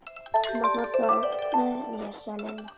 Þú mátt nota þá með mér sagði Lilla.